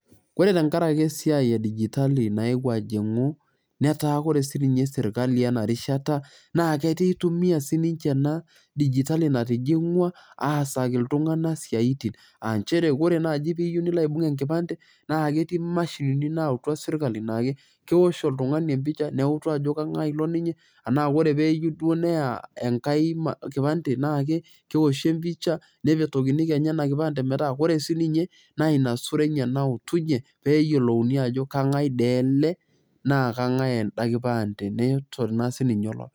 Ore tenkaraki esiai e digitali naewuo ajingu etaa ore sirkali ena rishata naa keitumia sininche ena digitali natijingwa aasaki iltunganak isiatin. Aa nchere ore naji teniyieu nilo aibung enkipande naa ketii mashinini naautwa sirkali naa keosh oltungani empicha neutu ajo kengae ilo ninye anaa teneyieu duoo neya enkae kipande naa keoshi empicha nepetokini kenya ena kipande metaa ore sininye naa ina sura enye nautunye peyiolouni ajo kangae dii ele naa kangae enda kipande neton